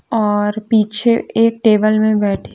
और पीछे एक टेबल में बैठी--